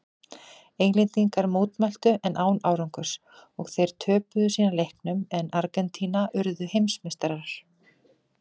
Englendingar mótmæltu en án árangurs og þeir töpuðu síðan leiknum en Argentína urðu heimsmeistarar.